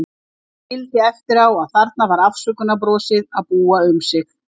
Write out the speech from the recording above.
Ég skildi eftir á að þarna var afsökunarbrosið að búa um sig.